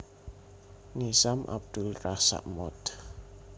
Nizam Abdul Razak Mohd